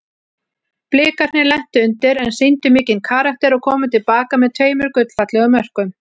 Blikarnir lentu undir en sýndu mikinn karakter og komu til baka með tveimur gullfallegum mörkum.